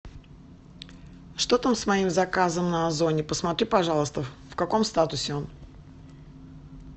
что там с моим заказом на озоне посмотри пожалуйста в каком статусе он